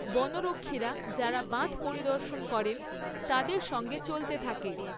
বনরক্ষীরা যারা বাঁধ পরিদর্শন করেন তাদের সঙ্গে চলতে থাকে।